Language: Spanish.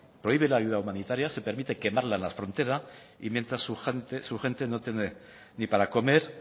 prohíbe la ayuda humanitaria se permite quemarla en la frontera y mientras su gente no tiene ni para comer